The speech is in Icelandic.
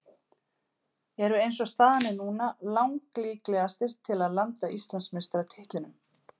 Eru eins og staðan er núna lang líklegastir til að landa Íslandsmeistaratitlinum.